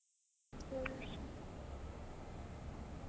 .